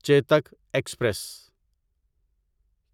Chetak express